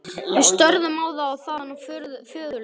Við störðum á þá- og þaðan á föðurlegan svipinn.